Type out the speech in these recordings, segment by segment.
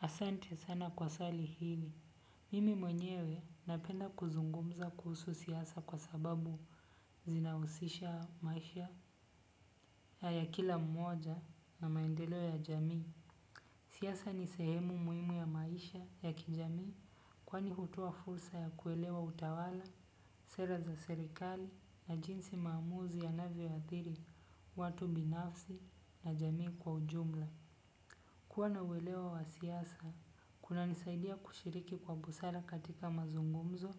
Asante sana kwa swali hili. Mimi mwenyewe napenda kuzungumza kuhusu siasa kwa sababu zinahusisha maisha ya kila mmoja na maendelo ya jamii. Siasa ni sehemu muhimu ya maisha ya kijamii, kwani hutoa fursa ya kuelewa utawala, sera za serikali na jinsi maamuzi yanavyo athiri watu binafsi na jamii kwa jumla. Kwa na uelewa wa siasa, unanisaidia kushiriki kwa busara katika mazungumzo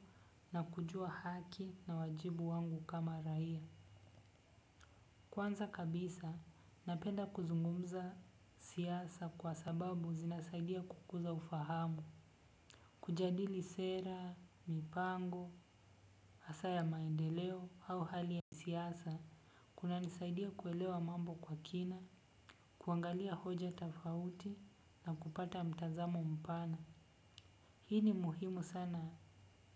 na kujua haki na wajibu wangu kama raia. Kwanza kabisa, napenda kuzungumza siasa kwa sababu zinasaidia kukuza ufahamu. Kujadili sera, mipango, hasa ya maendeleo au hali ya siasa, kunanisaidia kuelewa mambo kwa kina, kuangalia hoja tofauti na kupata mtazamo mpana. Hii ni muhimu sana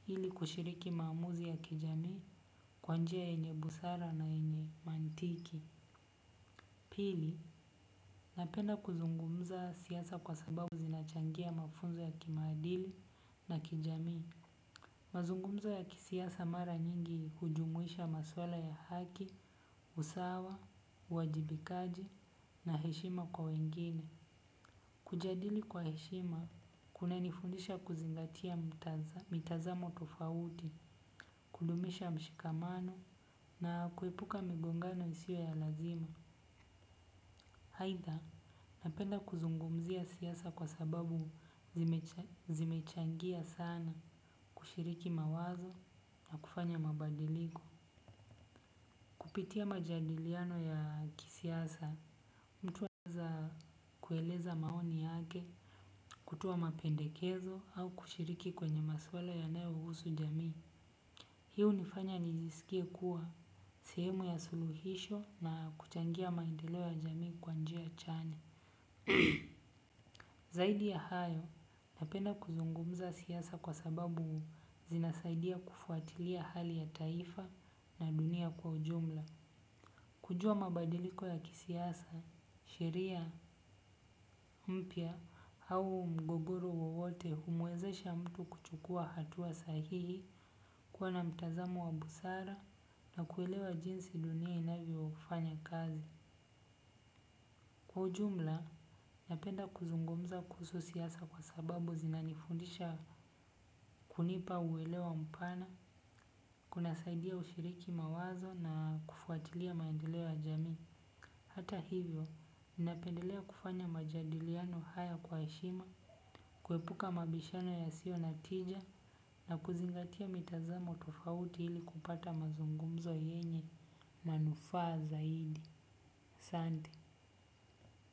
ili kushiriki maamuzi ya kijamii kwa njia yenye busara na yenye mantiki. Pili, napenda kuzungumza siasa kwa sababu zinachangia mafunzo ya kimaadili na kijamii. Mazungumzo ya kisiasa mara nyingi hujumuisha maswala ya haki, usawa, uajibikaji na heshima kwa wengine. Kujadili kwa heshima, kunanifundisha kuzingatia mitazamo tofauti, kudumisha mshikamano na kuepuka migongano isiyo ya lazima. Aitha, napenda kuzungumzia siasa kwa sababu zimechangia sana kushiriki mawazo na kufanya mabadiliko. Kupitia majadiliano ya kisiasa, mtu huanza kueleza maoni yake, kutoa mapendekezo au kushiriki kwenye maswala yanayo husu jamii. Hii hunifanya nijisikie kuwa, sehemu ya suluhisho na kuchangia maendeleo ya jamii kwa njia chanya. Zaidi ya hayo, napenda kuzungumza siasa kwa sababu zinasaidia kufuatilia hali ya taifa na dunia kwa jumla. Kujua mabadiliko ya kisiasa, sheria, mpya au mgogoro wowote humwezesha mtu kuchukua hatua sahihi, kuwa na mtazamo wa busara na kuelewa jinsi dunia inavyofanya kazi. Kwa jumla, napenda kuzungumza kuhusu siasa kwa sababu zinanifundisha kunipa uelewa mpana, kunasaidia kushiriki mawazo na kufuatilia maendeleo ya jamii. Hata hivyo, ninapendelea kufanya majadiliano haya kwa heshima, kuepuka mabishano yasiyo na tija na kuzingatia mitazamo tofauti ili kupata mazungumzo yenye manufaa zaidi. Asante.